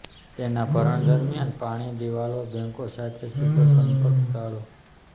તેના ભરણ દરમિયાન પાણી દિવાલો બેન્કો સાથે સીધો સંપર્ક ટાળો